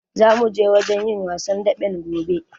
Zamu je wajen yin wasan daɓen gobe.